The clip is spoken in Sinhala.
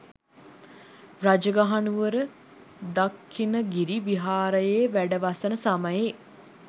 රජගහනුවර දක්ඛිණගිරි විහාරයේ වැඩවසන සමයේ